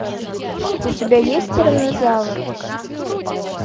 у тебя есть тираннозавр